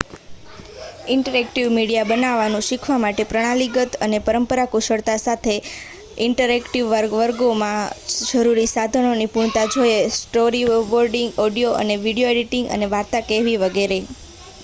interactive media બનાવવાનું શીખવા માટે પ્રણાલીગત અને પરંપરાગત કુશળતા સાથે સાથે ઇન્ટરેક્ટિવ વર્ગોમાં જરૂરી સાધનોમાં નિપુણતા જોઈએ સ્ટોરીબોર્ડિંગ ઓડિયો અને વિડિઓ એડિટિંગ વાર્તા કહેવી વગેરે